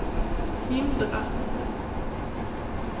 hindra